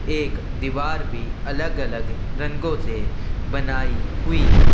एक दीवार भी अगल-अगल रंगो से बनाई हुई है।